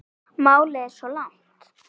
Málið er svo langt komið.